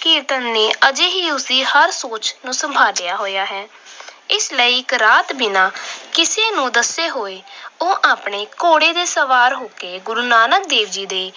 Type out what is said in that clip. ਕੀਰਤਨ ਨੇ ਅਜੇ ਵੀ ਉਸ ਦੀ ਸੋਚ ਨੂੰ ਸੰਭਾਲਿਆ ਹੋਇਆ ਹੈ। ਇਸ ਲਈ ਇੱਕ ਰਾਤ ਬਿਨਾਂ ਕਿਸੇ ਨੂੰ ਦੱਸੇ ਉਹ ਆਪਣੇ ਘੋੜੇ ਤੇ ਸਵਾਰ ਹੋ ਕੇ ਗੁਰੂ ਨਾਨਕ ਦੇਵ ਜੀ ਦੇ